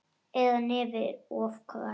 Eða nefið of hvasst.